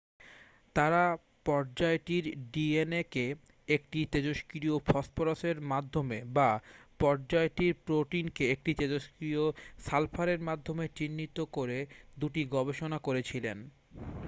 তাঁরা পর্যায়টির ডিএনএ কে একটি তেজস্ক্রিয় ফসফরাসের মাধ্যমে বা পর্যায়টির প্রোটিনকে একটি তেজস্ক্রিয় সালফারের মাধ্যমে চিহ্নিত করে দুটি গবেষণা করেছিলেন